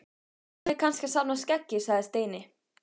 Hún er kannski að safna skeggi sagði Steini.